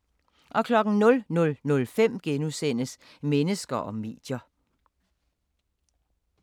00:05: Mennesker og medier *